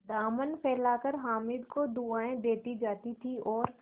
दामन फैलाकर हामिद को दुआएँ देती जाती थी और